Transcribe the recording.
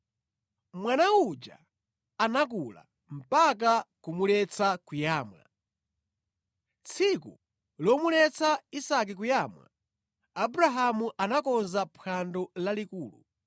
Mwana uja anakula mpaka kumuletsa kuyamwa. Tsiku lomuletsa Isake kuyamwa, Abrahamu anakonza phwando lalikulu.